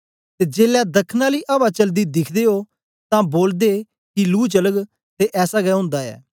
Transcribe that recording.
ते जेलै दखन आली अवा चलदी दिखदे ओ तां बोलदे कि लूह चलग ते ऐसा गै ओंदा ऐ